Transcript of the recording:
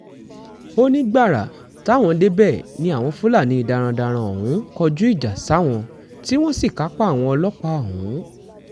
ó ní gbàrà táwọn débẹ̀ ni àwọn fúlàní darandaran ọ̀hún kọjú ìjà sáwọn tí wọ́n sì kápá àwọn ọlọ́pàá ọ̀hún